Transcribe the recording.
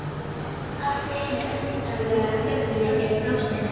Allt í einu undarleg tilfinning í brjóstinu.